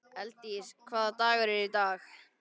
Elddís, hvaða dagur er í dag?